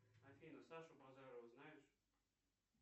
афина сашу базарова знаешь